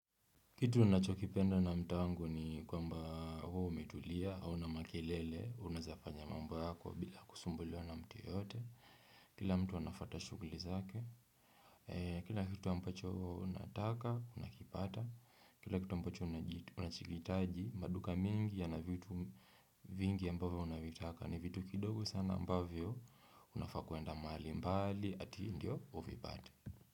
Kitu nachokipenda na mtaa wangu ni kwamba huwa umetulia hauna makelele unaezafanya mambo yako bila kusumbuliwa na mtu yeyote kila mtu anafata shuguli zake Kila kitu ambacho unataka unakipata kila kitu ambacho unachohitaji maduka mingi yana vitu vingi ambavyo unavitaka ni vitu kidogo sana ambavyo unafaa kuenda mahali mbali ati ndio uvipate.